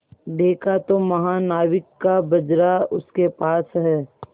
देखा तो महानाविक का बजरा उसके पास है